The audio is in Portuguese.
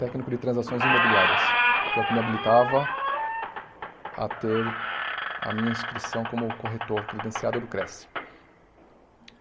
técnico de transações imobiliárias, que é o que me habilitava a ter a minha inscrição como corretor credenciado do Crest.